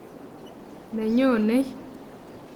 ne nyonei.